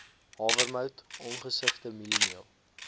hawermout ongesifde mieliemeel